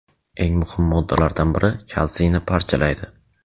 eng muhim moddalardan biri kalsiyni parchalaydi.